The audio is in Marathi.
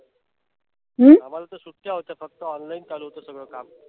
आम्हाला तर सुट्ट्या होत्या. फक्त online चालू होत्या सगळ काम.